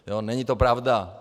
Není to pravda.